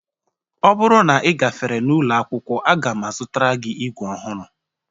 Ọ bụrụ na ị gafere n'ụlọ akwụkwọ, a ga m azụtara gị ígwè ọhụrụ